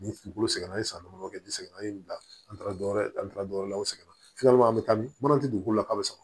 Ni dugukolo sɛgɛnna an san damadɔ kɛ ni sɛgɛnna an ye bila an taara dɔ wɛrɛ an taara dɔ wɛrɛ la aw seginna an bɛ taa ni mana tɛ dugu la ka sɔrɔ